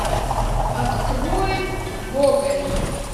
открой гоголь